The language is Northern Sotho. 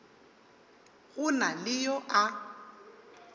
go na le yo a